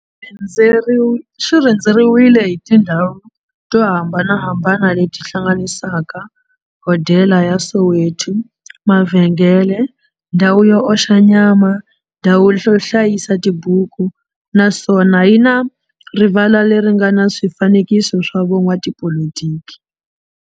Xirhendzeriwile hi tindhawu to hambanahambana le ti hlanganisaka, hodela ya Soweto, mavhengele, ndhawu yo oxa nyama, ndhawu yo hlayisa tibuku, naswona yi na rivala le ri nga na swifanekiso swa vo n'watipolitiki.